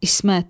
İsmət.